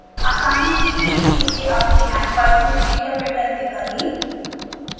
आसानी के लिए इसे अपने ipython interpreter में करें